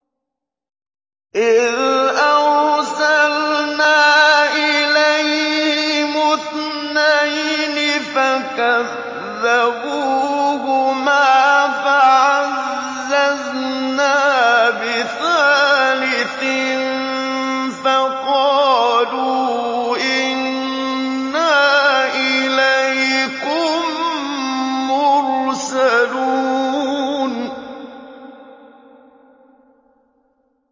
إِذْ أَرْسَلْنَا إِلَيْهِمُ اثْنَيْنِ فَكَذَّبُوهُمَا فَعَزَّزْنَا بِثَالِثٍ فَقَالُوا إِنَّا إِلَيْكُم مُّرْسَلُونَ